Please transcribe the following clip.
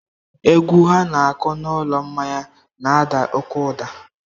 Egwu ha na-akụ n'ụlọ mmanya n'ada oke ụda.